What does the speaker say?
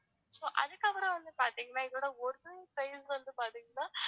so அதுக்கப்பறம் வந்து பாத்திங்கன்னா இதோட original price வந்து பாத்தீங்கன்னா